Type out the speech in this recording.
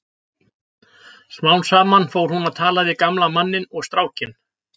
Smám saman fór hún að tala við gamla manninn og strákinn.